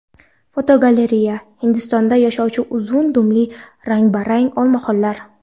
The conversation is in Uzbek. Fotogalereya: Hindistonda yashovchi uzun dumli rang-barang olmaxonlar.